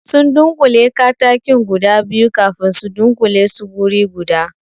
Sun dunƙule katakin guda biyu kafin su dunkule su wuri guda